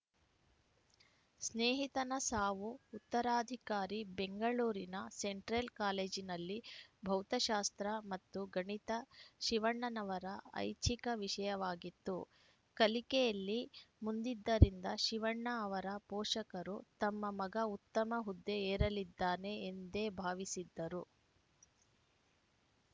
ಸ್ನೇಹಿತನ ಸಾವು ಉತ್ತರಾಧಿಕಾರಿ ಬೆಂಗಳೂರಿನ ಸೆಂಟ್ರಲ್‌ ಕಾಲೇಜಿನಲ್ಲಿ ಭೌತಶಾಸ್ತ್ರ ಮತ್ತು ಗಣಿತ ಶಿವಣ್ಣನವರ ಐಚ್ಛಿಕ ವಿಷಯವಾಗಿತ್ತು ಕಲಿಕೆಯಲ್ಲಿ ಮುಂದಿದ್ದರಿಂದ ಶಿವಣ್ಣ ಅವರ ಪೋಷಕರು ತಮ್ಮ ಮಗ ಉತ್ತಮ ಹುದ್ದೆ ಏರಲಿದ್ದಾನೆ ಎಂದೇ ಭಾವಿಸಿದ್ದರು